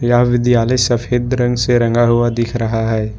यह विद्यालय सफेद रंग से रंगा हुआ दिख रहा है।